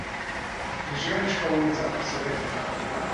Križevniška ulica, se ve.